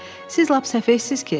Siz lap səfeysiz ki?